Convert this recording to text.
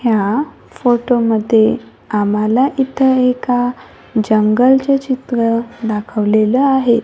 ह्या फोटोमध्ये आम्हाला इथं एका जंगलचं चित्र दाखवलेलं आहे.